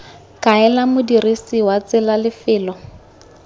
kaela modirisi wa tsela lefelo